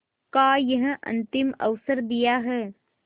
का यह अंतिम अवसर दिया है